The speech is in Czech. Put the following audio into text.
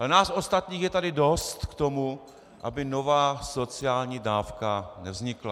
Ale nás ostatních je tady dost k tomu, aby nová sociální dávka nevznikla.